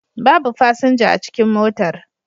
Babu fasinja a cikin motar